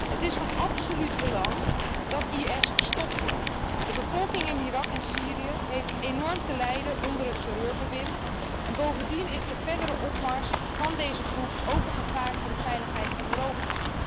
Het is van absoluut belang dat ISIS gestopt wordt. De bevolking in Irak en Syrië heeft enorm te lijden onder het terreurbewind en bovendien is de verdere opmars van deze groep ook een gevaar voor de veiligheid van Europa.